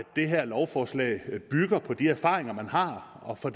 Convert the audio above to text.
det her lovforslag bygger på de erfaringer man har og fra